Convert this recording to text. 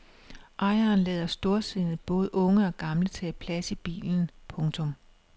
Ejeren lader storsindet både unge og gamle tage plads i bilen. punktum